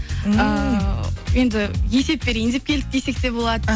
ааа енді есеп берейін деп келдік десек де болады